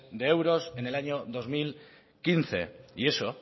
de euros en el año dos mil quince y eso